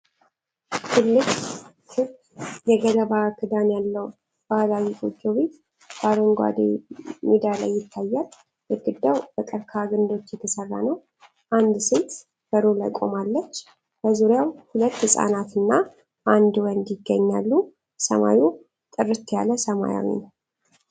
ትልቅ ክብ የገለባ ክዳን ያለው ባህላዊ ጎጆ ቤት በአረንጓዴ ሜዳ ላይ ይታያል። ግድግዳው በቀርከሃ ግንዶች የተሰራ ነው። አንድ ሴት በሩ ላይ ቆማለች፤ በዙሪያውም ሁለት ህፃናት እና አንድ ወንድ ይገኛሉ። ሰማዩ ጥርት ያለ ሰማያዊ ነው።